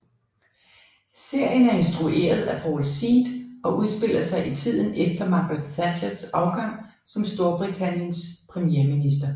Serien er instrueret af Paul Seed og udspiller sig i tiden efter Margaret Thatchers afgang som Storbritanniens premierminister